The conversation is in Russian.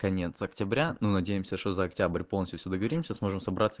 конец октября но надеемся что за октябрь полностью всю договоримся сможем собраться